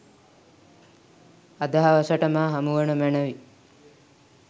අද හවසට මා හමුවනු මැනවි